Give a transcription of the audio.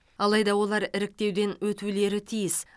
алайда олар іріктеуден өтулері тиіс